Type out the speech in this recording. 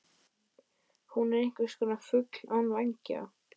Hún er einhverskonar fugl án vængja.